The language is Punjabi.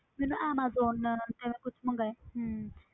ਮੈਂ ਨਾ ਐਮਾਜੋਨ ਕੁਛ ਮੰਗਵਾਇਆ ਹਮ